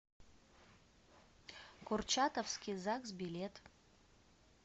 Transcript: курчатовский загс билет